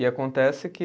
E acontece que